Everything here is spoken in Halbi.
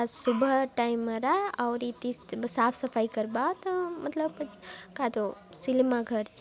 आज सुबह टाइम मेरा आउरी इति साफ सफाई करवा आत मतलब कायतो सिनेमा घर --